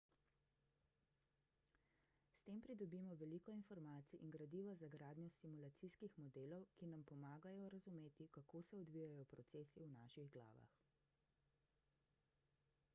s tem pridobimo veliko informacij in gradiva za gradnjo simulacijskih modelov ki nam pomagajo razumeti kako se odvijajo procesi v naših glavah